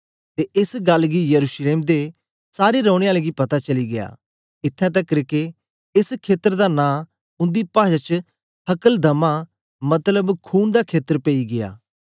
ते एस गल्ल गी यरूशलेम दे सारे रौने आलें गी पता चली गीया इत्थैं तकर के एस खेत्र दा नां उंदी पाषा च हकलदमा मतलब खून दा खेत्र पेई गीया